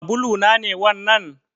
Sabulu na ne wannan?